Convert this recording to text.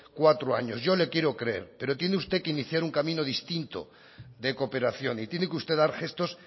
cuatro años yo le quiero creer pero tiene que usted iniciar un camino distinto de cooperación y tiene que usted dar gestos